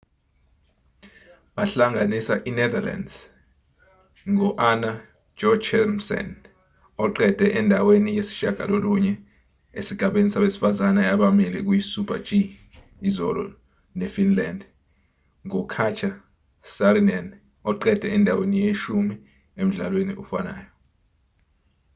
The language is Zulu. bahlanganisa inetherlands ngo-anna jochemsen oqede endaweni yesishiyagalolunye esigabeni sabesifazane abamile kuyisuper-g izolo nefinland ngokatja saarinen oqede endaweni yeshumi emdlalweni ofanayo